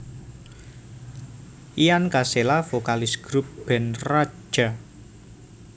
Ian Kasela vokalis grup band Radja